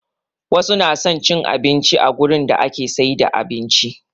Wasu na son cin abinci a gurin da ake siyar da abinci